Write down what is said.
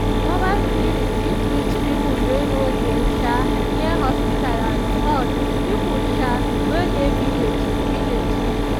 mobile clinic fit reach people wey no dey um near hospital at all people um wey dy village. village.